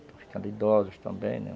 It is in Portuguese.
Estão ficando idosos também, né?